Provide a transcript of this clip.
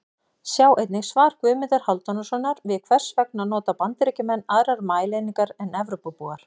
Sjá einnig: Svar Guðmundar Hálfdanarsonar við Hvers vegna nota Bandaríkjamenn aðrar mælieiningar en Evrópubúar?